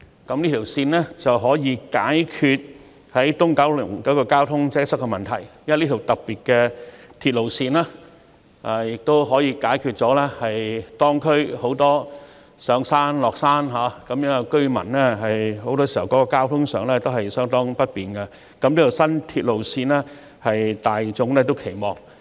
新鐵路線不但將可解決九龍東交通擠塞的問題，這條特別的鐵路線亦可解決很多當區居民上下山時交通不便的問題，故此大眾均對這條新鐵路線相當有期望。